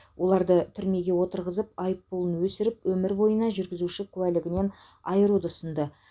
оларды түрмеге отырғызып айыппұлын өсіріп өмір бойына жүргізуші куәлігінен айыруды ұсынды